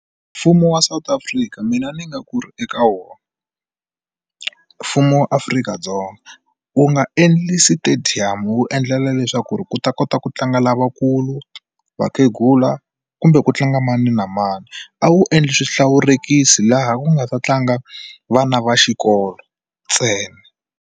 Mfumo wa South Africa mina ni nga ku ri eka wona mfumo wa Afrika-Dzonga wu nga endli stadium wu endlela leswaku ku ta kota ku tlanga nga lavakulu vakhegula kumbe ku tlanga mani na mani a wu endli swihlawurekisi laha ku nga ta tlanga vana va xikolo ntsena.